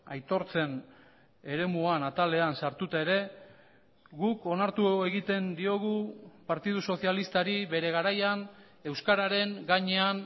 aitortzen eremuan atalean sartuta ere guk onartu egiten diogu partidu sozialistari bere garaian euskararen gainean